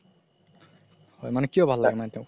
হয় মানে কিয় ভাল লাগে মানে তেওক